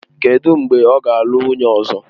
Kedụ mgbe ọ ga-alụ nwunye ọzọ?